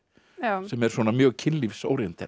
sem er mjög kynlífs